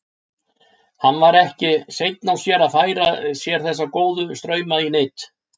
Hann var ekki seinn á sér að færa sér þessa góðu strauma í nyt.